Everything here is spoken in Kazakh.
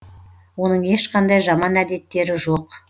оның ешқандай жаман әдеттері жоқ